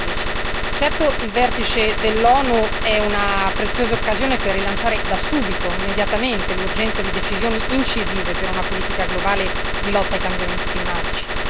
2015. Certo, il vertice dell'ONU è una preziosa occasione per rilanciare da subito, immediatamente, l'urgenza di decisioni incisive per una politica globale di lotta ai cambiamenti climatici.